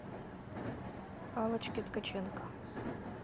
аллочке ткаченко